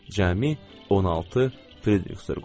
Cəmi 16 Fridrixsdor qoyduq.